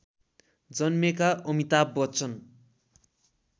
जन्मेका अमिताभ बच्चन